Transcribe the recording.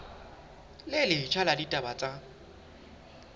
le letjha la ditaba tsa